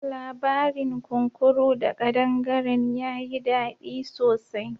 Labarin kunkuru da ƙadangaren ya yi dadi sosai.